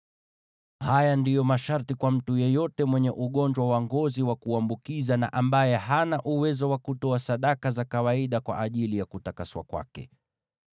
Haya ndiyo masharti kwa mtu yeyote mwenye ugonjwa wa ngozi wa kuambukiza, na ambaye hana uwezo wa kutoa sadaka za kawaida kwa ajili ya kutakaswa kwake.